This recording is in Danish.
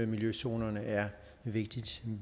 miljøzonerne er et vigtigt